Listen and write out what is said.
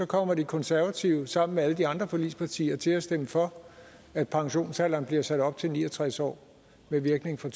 kommer de konservative sammen med alle de andre forligspartier til at stemme for at pensionsalderen bliver sat op til ni og tres år med virkning fra